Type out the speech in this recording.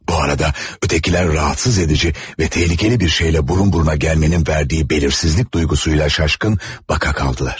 Bu arada, ötekilər rahatsız edici və təhlükəli bir şeylə burun-buruna gəlmənin verdiyi bəlirsizlik duyğusuyla şaşkın baka qaldılar.